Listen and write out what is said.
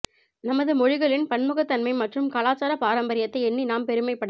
நமது மொழிகளின் பன்முகத்தன்மை மற்றும் கலாச்சார பாரம்பரியத்தை எண்ணி நாம் பெருமைப்பட